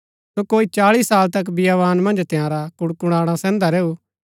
सो कोई चाळी साल तक बियावान मन्ज तंयारा कुडकुडाणा सैहन्दा रैऊ